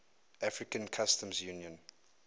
african customs union